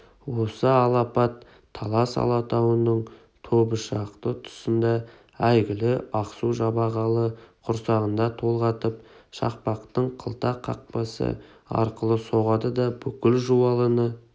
осы алапат талас алатауының тобышақты тұсында әйгілі ақсу-жабағылы құрсағында толғатып шақпақтың қылта қақпасы арқылы соғады да бүкіл жуалыны